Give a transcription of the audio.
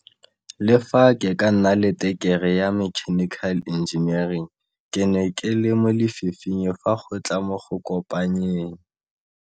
Le fa ke ke na le tekerii ya mechanical engineering ke ne ke le mo lefifing fa go tla mo go kopanyeng